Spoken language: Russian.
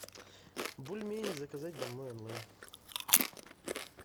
бульмени заказать домой онлайн